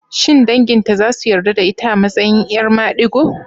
Shin danginta za su yarda da ita a matsayin 'yar madigo?